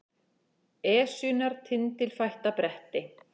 Esjunnar tindilfætta bretti